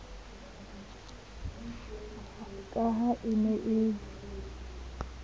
ka ha e ne e